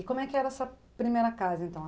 E como é que era essa primeira casa, então?